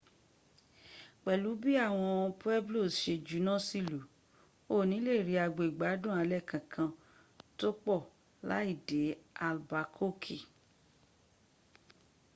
pelu bii awon pueblos se juna si ilu o ni le ri agbo igbadun ale kankan to po lai de albakoki